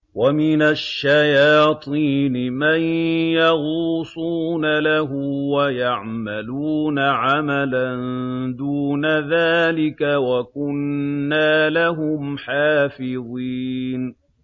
وَمِنَ الشَّيَاطِينِ مَن يَغُوصُونَ لَهُ وَيَعْمَلُونَ عَمَلًا دُونَ ذَٰلِكَ ۖ وَكُنَّا لَهُمْ حَافِظِينَ